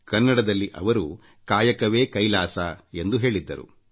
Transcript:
ಕನ್ನಡದಲ್ಲಿ ಅವರು ಕಾಯಕವೇ ಕೈಲಾಸ ಎಂದು ಹೇಳಿದ್ದರು